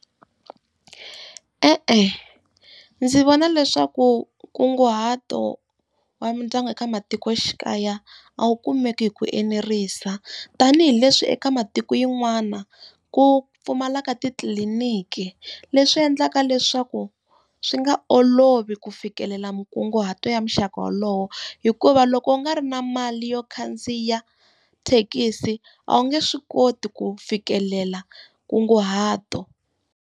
E-e ndzi vona leswaku nkunguhato wa mindyangu eka matikoxikaya a wu kumeki hi ku enerisa, tanihileswi eka matiko yan'wana ku pfumalaka titliliniki. Leswi endlaka leswaku swi nga olovi ku fikelela minkunguhato ya muxaka wolowo. Hikuva loko u nga ri na mali yo khandziya thekisi, a wu nge swi koti ku fikelela nkunguhato.